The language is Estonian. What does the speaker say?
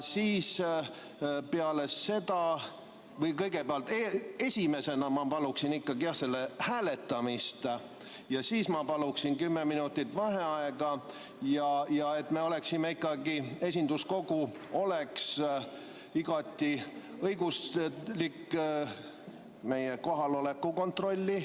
Peale seda ma palun selle ettepaneku hääletamist, ja et meie esinduskogu oleks igati õiguslik, palun teha ka meie kohaloleku kontroll.